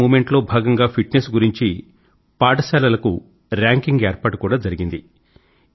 fit India Movement లో భాగం గా ఫిట్ నెస్ గురించి పాఠశాలలకు ర్యాంకింగ్ ఏర్పాటు కూడా జరిగింది